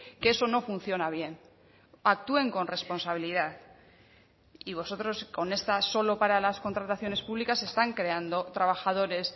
que eso no funciona bien actúen con responsabilidad y vosotros con esta solo para las contrataciones públicas están creando trabajadores